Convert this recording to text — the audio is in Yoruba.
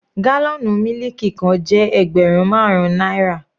Gálọ̀nù mílìkì kan jẹ́ ẹgbẹrun marun náírà.